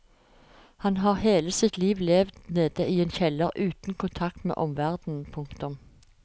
Han har hele sitt liv levd nede i en kjeller uten kontakt med omverdenen. punktum